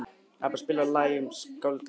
Ebba, spilaðu lagið „Um skáldið Jónas“.